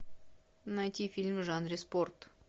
найти фильм в жанре спорт